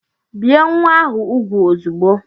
Bie nwa ahụ úgwù ozugbo!